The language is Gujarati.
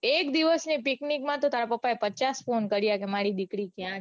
એક દિવસની picnic માતો તારા પાપાએ તો પચાસ phone કાર્ય છે. મારી દીકરી ક્યાં છે ક્યાં છે.